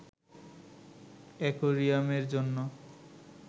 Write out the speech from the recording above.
অ্যাকোয়ারিয়ামের জন্য